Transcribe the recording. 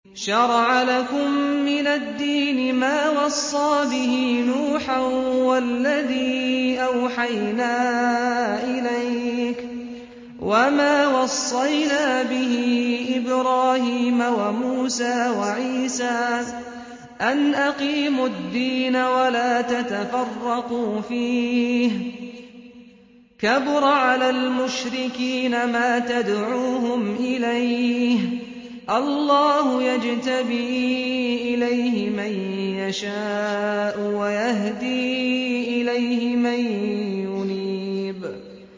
۞ شَرَعَ لَكُم مِّنَ الدِّينِ مَا وَصَّىٰ بِهِ نُوحًا وَالَّذِي أَوْحَيْنَا إِلَيْكَ وَمَا وَصَّيْنَا بِهِ إِبْرَاهِيمَ وَمُوسَىٰ وَعِيسَىٰ ۖ أَنْ أَقِيمُوا الدِّينَ وَلَا تَتَفَرَّقُوا فِيهِ ۚ كَبُرَ عَلَى الْمُشْرِكِينَ مَا تَدْعُوهُمْ إِلَيْهِ ۚ اللَّهُ يَجْتَبِي إِلَيْهِ مَن يَشَاءُ وَيَهْدِي إِلَيْهِ مَن يُنِيبُ